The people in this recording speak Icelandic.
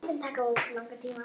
Þetta mun taka langan tíma.